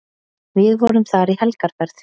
Við vorum þar í helgarferð.